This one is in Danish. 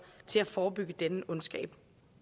til at forebygge denne ondskab